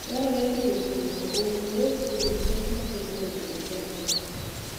Dwarore ni jopurgo owuo kuom pek mabedoe e pidho jamni.